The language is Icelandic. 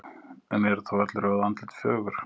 en eru þá öll rjóð andlit fögur